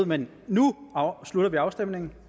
men nu slutter vi afstemningen